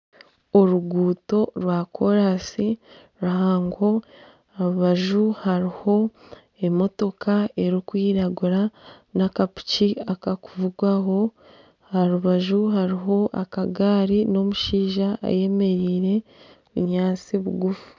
Oruguuto rwa koransi ruhango aha rubaju hariho emotoka erikwiragura n'akapiki akarikuvugwaho aha rubaju hariho akagari n'omushaija ayemereire obunyaantsi nibugufu.